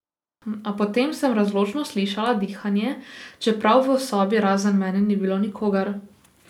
A potem sem razločno slišala dihanje, čeprav v sobi razen mene ni bilo nikogar.